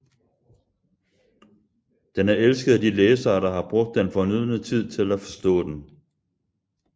Den er elsket af de læsere der har brugt den fornødne tid til at forstå den